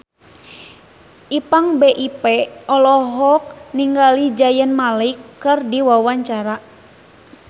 Ipank BIP olohok ningali Zayn Malik keur diwawancara